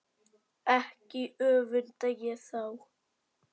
Ekki öfunda ég þá